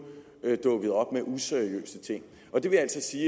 dukkede op med useriøse ting det vil altså sige